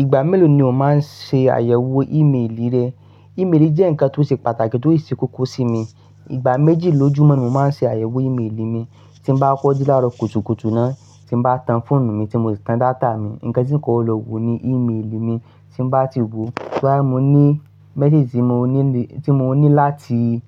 Ìgbà mélòó ni o máa ń ṣe àyẹ̀wò ímélì rẹ? Ìméèlì jẹ́ ǹkan tó ṣe pàtàkì tó ì ṣe kókó sí mi. Ìgbà méjì lójúmọ́ ní mó máa ń ṣe àyẹ̀wò ímélì mí. Tí mó bá kọ́ dí láró kùtùkùtù náà, tí mo bá tan fóònù mi, tí mo ti tan data mi, ǹkan tí kò lọ wù ni ímélì mi, tí mo bá ti wò ó, bóyá mó ní mésèjì tí mo ní láti,